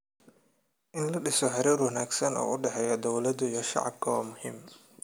In la dhiso xiriir wanaagsan oo u dhexeeya dowladda iyo shacabka waa muhiim.